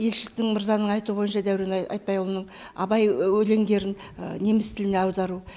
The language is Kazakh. елшіліктің мырзаның айтуы бойынша дәурен айтбайұлының абай өлеңдерін неміс тіліне аудару